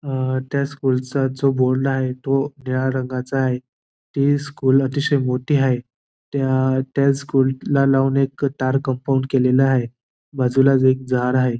अ त्या स्कूलचा जो बोर्ड आहे तो निळ्या रंगाचा आहे ती स्कूल अतिशय मोठी आहे त्या त्या स्कूल ला लावून एक तार कंपाउंड केलेल आहे बाजूलाच एक झाड आहे.